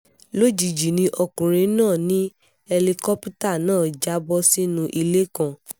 lójijì ni ọkùnrin náà ní ẹlikọ́pítà náà já bọ́ sínú ilé kan